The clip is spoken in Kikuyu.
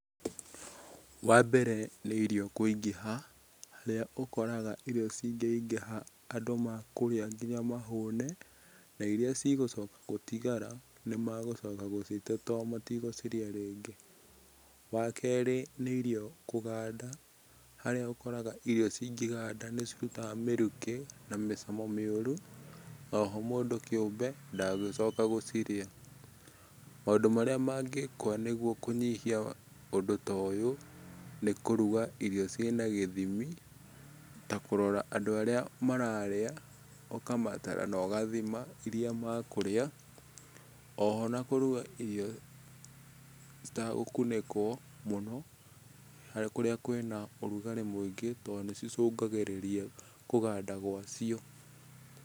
Wa mbere nĩ irio kũingĩha, harĩa ũkoraga irio cingĩingĩha andũ makũrĩa nginya mahũne, na iria cigũcoka gũtigara, nĩmegũcoka gũcite tondũ matigũcirĩa rĩngĩ. Wa keri nĩ irio kũganda, harĩa ũkoraga ĩrio cingĩganda nĩcirutaga mĩrukĩ na mĩcamo mĩũru, oho mũndũ kĩumbe ndagũcoka gũcirĩa. Maũndũ marĩa mangĩkwo nĩguo kũnyihia ũndũ ta ũyũ, nĩ kũruga irio cina gĩthimi, ta kũrora andũ arĩa mararĩa, ũkamatara na ũgathima irĩa maekũurĩa, oho na kũrũga ĩrio citegũkunĩkwo mũno, hari kũrĩa kwĩna ũrugarĩ mũingĩ tondũ nĩ cĩcũngagĩrĩria kũganda gwa cio.